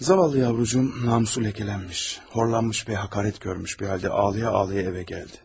Zavallı yavrucuğum namusu ləkələnmiş, horlanmış və həqarət görmüş bir halda ağlaya-ağlaya evə gəldi.